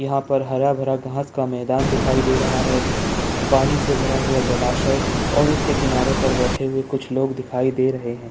यहाँ पर हरा-भरा घास का मैदान दिखाई दे रहा है पानी से भरा हुआ जलासय और उसी के किनारे बैठे लोग दिखाई दे रहे हैं।